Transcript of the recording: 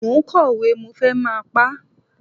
Mo ń kọ òwe, mo fẹ́ máa pá.